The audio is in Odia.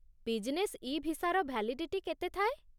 ବିଜ୍‌ନେସ୍ ଇ ଭିସାର ଭ୍ୟାଲିଡିଟି କେତେ ଥାଏ?